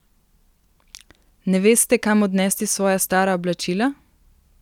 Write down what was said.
Ne veste, kam odnesti svoja stara oblačila?